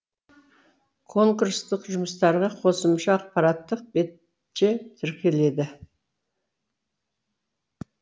конкурстық жұмыстарға қосымша ақпараттық бетше тіркеледі